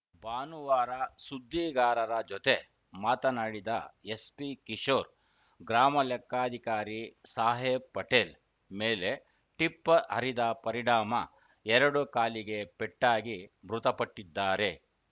ಭಾನುವಾರ ಸುದ್ದಿಗಾರರ ಜೊತೆ ಮಾತನಾಡಿದ ಎಸ್ಪಿ ಕಿಶೋರ್‌ ಗ್ರಾಮಲೆಕ್ಕಾಧಿಕಾರಿ ಸಾಹೇಬ್‌ ಪಟೇಲ್‌ ಮೇಲೆ ಟಿಪ್ಪರ್‌ ಹರಿದ ಪರಿಣಾಮ ಎರಡು ಕಾಲಿಗೆ ಪೆಟ್ಟಾಗಿ ಮೃತಪಟ್ಟಿದ್ದಾರೆ